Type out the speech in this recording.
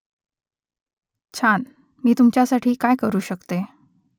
छान . मी तुमच्यासाठी काय करू शकते ?